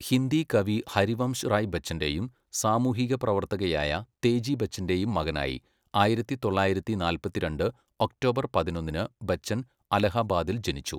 ഹിന്ദി കവി ഹരിവംശ് റായ് ബച്ചൻ്റെയും സാമൂഹികപ്രവർത്തകയായ തേജി ബച്ചൻ്റെയും മകനായി ആയിരത്തി തൊള്ളായിരത്തി നാല്പത്തിരണ്ട് ഒക്ടോബർ പതിനൊന്നിന് ബച്ചൻ അലഹബാദിൽ ജനിച്ചു.